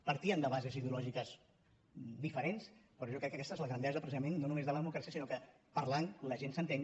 partíem de bases ideològiques diferents però jo crec que aquesta és la grandesa precisament no només de la democràcia sinó que parlant la gent s’entén